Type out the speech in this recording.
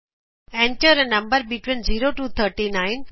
Enter a number between of 0 to 39